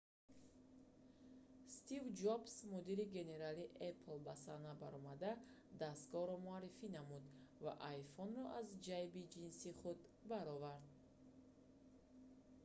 стив ҷобс мудири генералии apple ба саҳна баромада дастгоҳро муаррифӣ намуд ва iphone-ро аз ҷайби ҷинси худ баровард